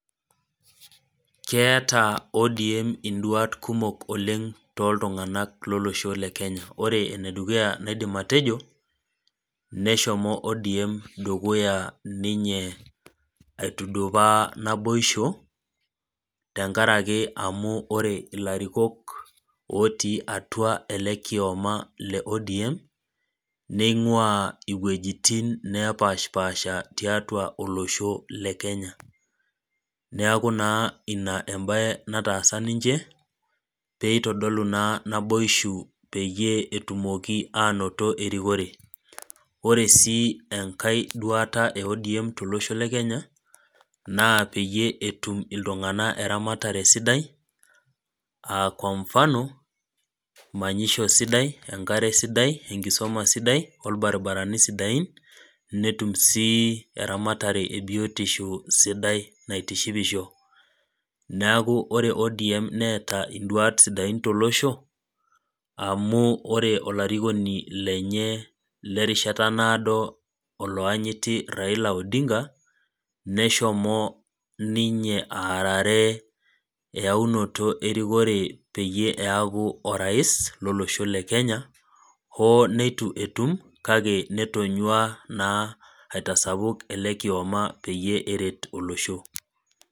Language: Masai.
Keata ODM induat kumok oleng' too iltung'anak lolosho le Kenya. Ore ene dukuya naidim atejo, neshomo ODM dukuya ninye aitudupaa naboisho, tenkaraki ore ake ilarikok, otii atua ele kioma le ODM, neing'uaa iwuetin napaashpaasha tiatua olosho, le Kenya. Neaku naa ina embae nataasa ninche, pee eitodolu naa naboishu naa peyie atum erikore. Ore ii enkai duata e ODM tolosho le Kenya naa oeyie etum iltung'ana eramatare sidai aa kwa mfano manyisho sidai, enkare sidai, enkisoma sidai, o ilbarabarani sidain netum sii eramatare e biotisho sidai naitishipisho. Neaku ore ODM neata induat sidain tolosho, amu ore olarikoni lenye, le erishata naaddo oloyanyiti Raila Odinga, neshomo ninye aarare eyaunoto erikore peyie eaku orais loloshho le Kenya, hoo neitu etum, kake netonyua naa aitasapuk ele kioma peyie eret olosho.